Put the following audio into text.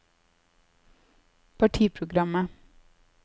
partiprogrammet